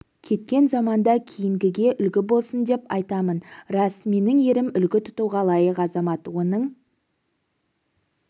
кеткен заманда кейінгіге үлгі болсын деп айтамын рас менің ерім үлгі тұтуға лайық азамат оның